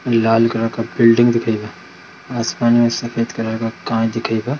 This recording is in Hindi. लाल कलर का बिल्डिंग दिखै बा आसमान में सफ़ेद कलर का कांच दिखै बा।